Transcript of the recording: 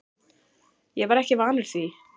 Ég var ekki vanur því.